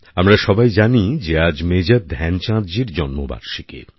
আমরা সবাই জানি যে আজ মেজর ধ্যানচাঁদজির জন্মবার্ষিকী